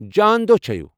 جان دوہ چھٲوِو !